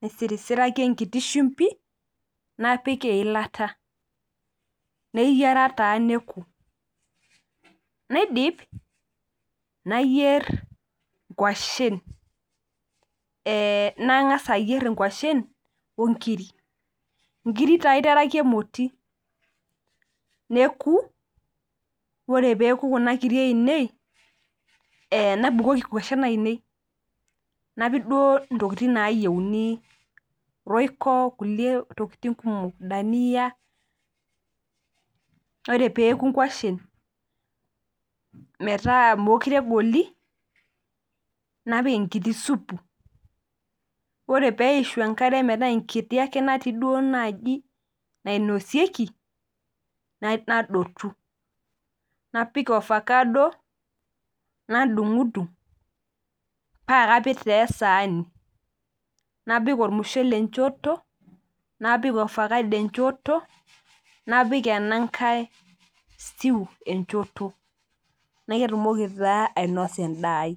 nisirisiraki enkiti shimbi, napik eilata. Neyiara taa neku. Naidip, nayier nkwashen. Nang'asa ayier inkwashen, onkiri. Nkiri taa aiteraki emoti. Neku, ore peku kuna kiri ainei, nabukoki nkwashen ainei. Napik duo ntokiting nayieuni, royko, nkulie tokiting kumok. Dania. Ore peku nkwashen metaa mekure egoli, napik enkiti supu. Ore peishu enkare metaa enkiti ake natii duo naji nainosieki, nadotu. Napik ofakado, nadung'dung, pakapik taa esaani. Napik ormushele enchoto, napik ofakado enchoto, napik enankae stew enchoto. Natumoki taa ainosie endaa ai.